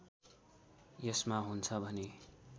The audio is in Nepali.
यसमा हुन्छ भने